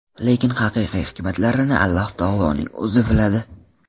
Lekin haqiqiy hikmatlarini Alloh taoloning O‘zi biladi.